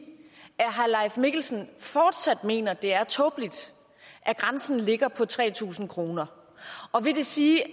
at mikkelsen fortsat mener at det er tåbeligt at grænsen ligger på tre tusind kr og vil det sige at